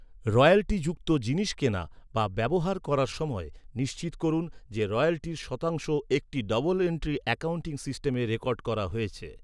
Royalty যুক্ত জিনিস কেনা বা ব্যবহার করার সময়, নিশ্চিত করুন যে রয়্যালটির শতাংশ একটি ডবল এন্ট্রি অ্যাকাউন্টিং সিস্টেমে রেকর্ড করা হয়েছে।